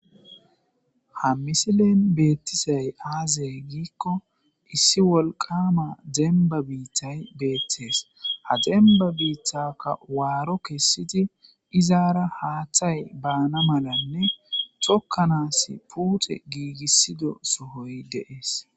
ha misilen betizay aze giikko issi wolqama demba biitay betees, ha demba biitaka waaro kessidi izaara haaththay baana malanne tokanas puute giigissido sohoy de'es.